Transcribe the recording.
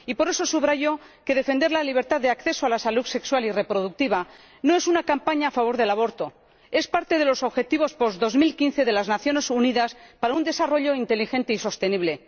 Y por eso subrayo que defender la libertad de acceso a la salud sexual y reproductiva no es una campaña a favor del aborto es parte de los objetivos post 2015 de las Naciones Unidas para un desarrollo inteligente y sostenible.